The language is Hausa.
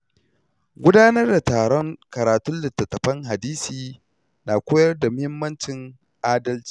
Gudanar da taron karatun littattafan hadisi na koyar da muhimmancin adalci.